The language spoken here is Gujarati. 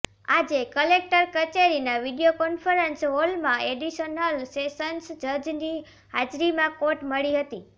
આજે કલેક્ટર કચેરીના વિડિયોકોન્ફરન્સ હોલમાં એડિશનલ સેસન્સ જજની હાજરીમાં કોર્ટ મળી હતી